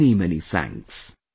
Many many thanks